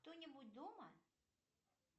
кто нибудь дома